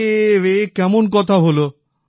আরে এ কেমন কথা হল